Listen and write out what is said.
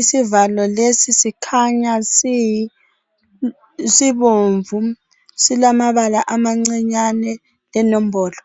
Isivalo lesi sikhanya siyi sibomvu. Silamabala amancinyane lenombolo.